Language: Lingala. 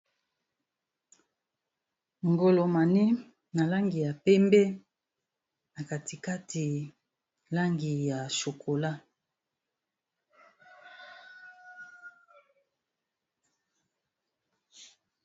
ngolo mani na langi ya pembe na katikati langi ya chokola